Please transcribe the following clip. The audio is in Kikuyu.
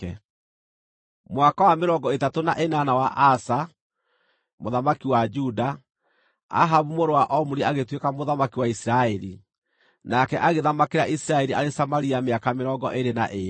Mwaka wa mĩrongo ĩtatũ na ĩnana wa Asa, mũthamaki wa Juda, Ahabu mũrũ wa Omuri agĩtuĩka mũthamaki wa Isiraeli, nake agĩthamakĩra Isiraeli arĩ Samaria mĩaka mĩrongo ĩĩrĩ na ĩĩrĩ.